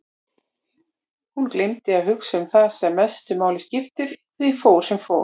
Hún gleymdi að hugsa um það sem mestu máli skipti og því fór sem fór.